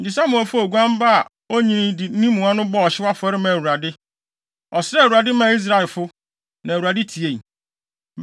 Enti Samuel faa oguan ba a onnyinii de ne mua no bɔɔ ɔhyew afɔre maa Awurade. Ɔsrɛɛ Awurade maa Israelfo, na Awurade tiei.